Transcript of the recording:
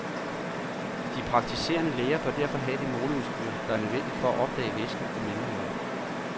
De praktiserende læger bør derfor have det måleudstyr, der er nødvendigt for at opdage væsken i mellemøret.